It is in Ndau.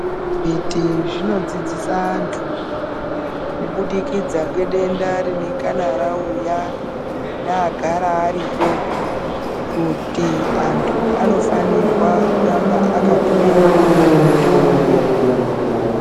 Zvibhedhleya zvinodzidzisa anthu kubudikidza ngedenda rinengana rauya neagara ariyo kuti anthu anofanirwa kuramba akatora mutombo.